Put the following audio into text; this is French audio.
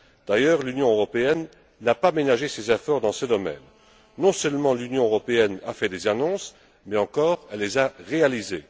D'ailleurs l'Union européenne n'a pas ménagé ses efforts dans ce domaine. Non seulement l'Union européenne a fait des annonces, mais encore elle les a réalisées.